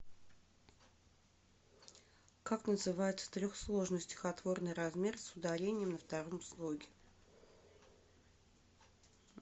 как называется трехсложный стихотворный размер с ударением на втором слоге